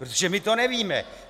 Protože my to nevíme.